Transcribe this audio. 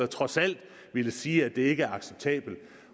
trods alt ville sige at det ikke er acceptabelt